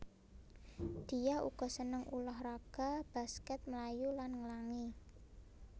Diah uga seneng ulah raga baskèt mlayu lan nglangi